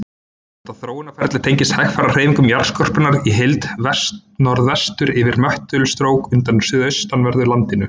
Þetta þróunarferli tengist hægfara hreyfingu jarðskorpunnar í heild vestnorðvestur yfir möttulstrók undir suðaustanverðu landinu.